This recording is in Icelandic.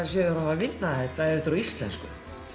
vinna þetta ef þetta er á íslensku